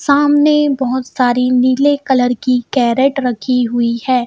सामने बहोत सारी नीले कलर की कैरेट रखी हुई है.